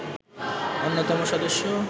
অন্যতম সদস্য